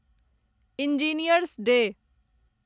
engineers day